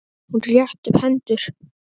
Hún rétti upp hendur.